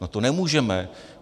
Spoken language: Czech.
No to nemůžeme.